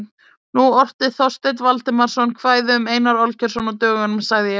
Nú orti Þorsteinn Valdimarsson kvæði um Einar Olgeirsson á dögunum, sagði ég.